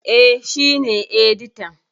E, shi ne editan.